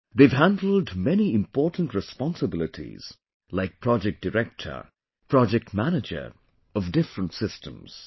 They have handled many important responsibilities like project director, project manager of different systems